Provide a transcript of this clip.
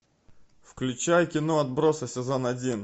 включай кино отбросы сезон один